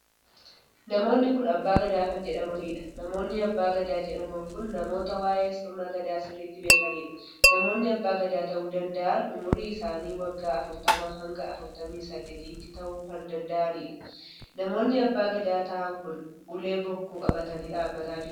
Namoonni kun abbaa gadaa kan jedhamaniidha. namoonni abbaa gadaa jedhaman kun namoota waa'ee sirna gadaa sirriitti beekaniidha. namoonni abbaa ta'uu danda'an umurii isaanii waggaa afurtamaa hanga afurtamii sadeetitti tahuu kan danda'aniidha. namoonni abbaa gadaa ta'aan kun ulee bokkuu qabatanii dhaabbataa jiru